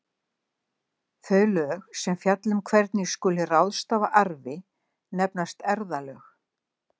Þau lög sem fjalla um hvernig skuli ráðstafa arfi nefnast erfðalög.